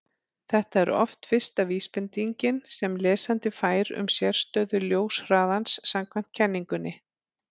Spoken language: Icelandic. þetta er oft fyrsta vísbendingin sem lesandi fær um sérstöðu ljóshraðans samkvæmt kenningunni